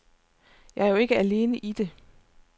Jeg er jo ikke alene i det.